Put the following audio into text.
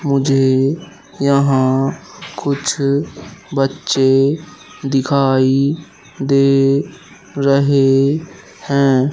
मुझे यहां कुछ बच्चे दिखाई दे रहे है।